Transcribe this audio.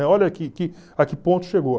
Olha que que a que ponto chegou.